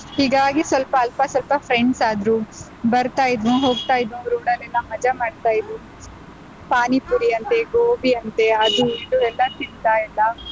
ಹೀಗಾಗಿ ಸ್ವಲ್ಪ ಅಲ್ಪ ಸ್ವಲ್ಪ friends ಆದ್ರು ಬರ್ತಾ ಇದ್ನೋ ಹೋಗ್ತಾ ಇದ್ದೋರು road ಅಲ್ಲೆಲ್ಲ ಮಜಾ ಮಾಡ್ತಾ ಇದ್ರು. ಪಾನಿಪುರಿ ಅಂತೆ, ಗೋಬಿ ಅಂತೆ ಅದು ಇದು ಎಲ್ಲಾ ತಿನ್ತಾ ಇದ್ನ.